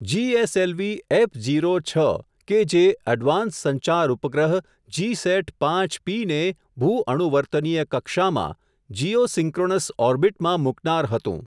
GSLV F zero છ કે જે, એડવાન્સ્ડ સંચાર ઉપગ્રહ જીસેટ પાંચ પી ને, ભૂ અનુવર્તનીય કક્ષામાં, જીઓસિન્ક્રોન્સ ઓરબીટમાં મૂકનાર હતું.